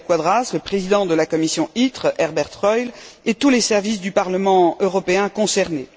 Vidal Quadras, le président de la commission ITRE, Herbert Reul, et tous les services du Parlement européen concernés.